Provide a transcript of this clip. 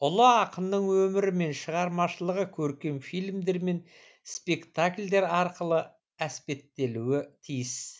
ұлы ақынның өмірі мен шығармашылығы көркем фильмдер мен спектакльдер арқылы әспеттелуі тиіс